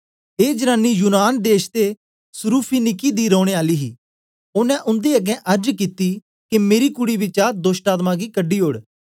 ए जनानी यूनान देश ते सुरूफीनिकी दी रोने आली ही ओनें उन्दे अगें अर्ज कित्ती के मेरी कूडी बिचा दोष्टआत्मा गी कढी ओड़